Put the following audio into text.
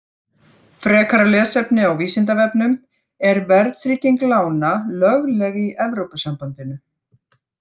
Frekara lesefni á Vísindavefnum: Er verðtrygging lána lögleg í Evrópusambandinu?